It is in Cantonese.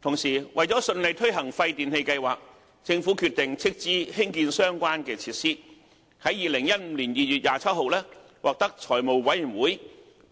同時，為了順利推行廢電器計劃，政府決定斥資興建相關設施，於2015年2月27日獲財務委員會